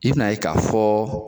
I bina ye ka fɔ